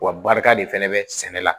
Wa barika de fɛnɛ bɛ sɛnɛ la